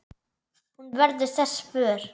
Hún verður þess vör.